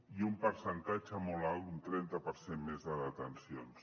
i un percentatge molt alt un trenta per cent més de detencions